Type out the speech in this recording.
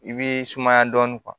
I b'i sumaya dɔɔnin